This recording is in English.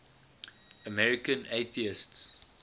american atheists